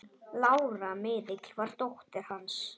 Lára miðill var dóttir hans.